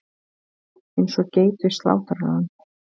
Eins og geit við slátrarann.